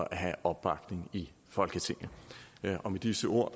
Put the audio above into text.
at have opbakning i folketinget med disse ord